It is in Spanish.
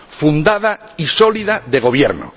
fundada y sólida de gobierno.